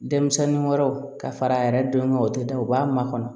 Denmisɛnnin wɛrɛw ka fara a yɛrɛ dɔn kan o tɛ da u b'a makɔnɔ